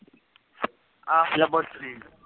ਹਾਂ ਲੈਬੋਰਟਰੀ ਦਾ